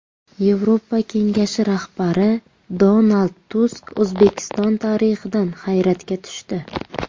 Yevropa Kengashi rahbari Donald Tusk O‘zbekiston tarixidan hayratga tushdi.